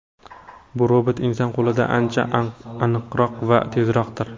Bu robot inson qo‘lidan ancha aniqroq va tezroqdir.